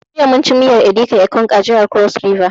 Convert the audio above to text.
Jiya mun ci miyar edika ekong a jihar cross river